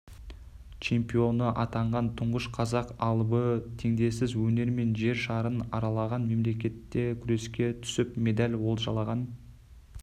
чемпионы атанған тұңғыш қазақ алыбы теңдессіз өнерімен жер шарын аралаған мемлекетте күреске түсіп медаль олжалаған